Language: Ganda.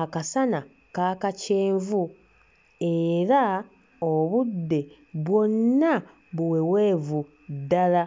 akasana kaaka kyenvu era obudde bwonna buweweevu ddala.